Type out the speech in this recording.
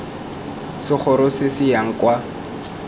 segoro se se yang kwa